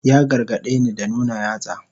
Ya gargadeni da nuna yatsa.